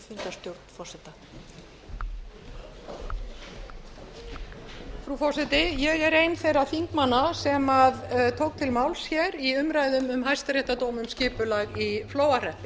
frú forseti ég er ein þeirra þingmanna sem tóku til máls í umræðu um hæstaréttardóm um skipulag í flóahreppi